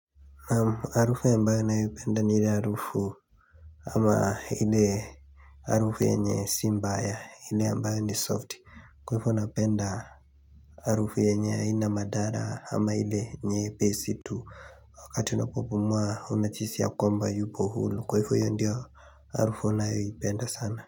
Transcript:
Naam harufu ambayo ninayopenda ni ile harufu ama ile harufu yenye si mbaya ile ambayo ni soft, kwa ivo napenda harufu yenye haina madhara ama ile nyepesi tu wakati unapopumua unajihisi ya kwamba yupo huru kwa ivo hiyo ndio harufu ninayoipenda sana.